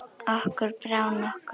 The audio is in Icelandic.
Okkur brá nokkuð.